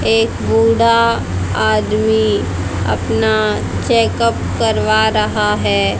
एक बूढ़ा आदमी अपना चेकअप करवा रहा है।